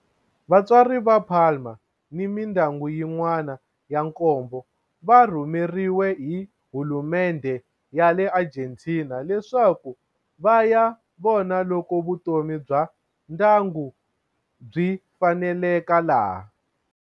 Vatswari va Palma ni mindyangu yin'wana ya nkombo va rhumeriwe hi hulumendhe ya le Argentina leswaku va ya vona loko vutomi bya ndyangu byi faneleka laha.